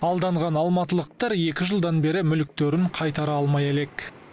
алданған алматылықтар екі жылдан бері мүліктерін қайтара алмай әлек